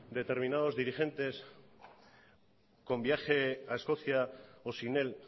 determinados dirigentes con viaje a escocia o sin él